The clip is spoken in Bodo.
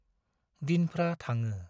दिनफ्रा थाङो ।